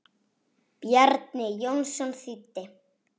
Bjarni Jónsson þýddi.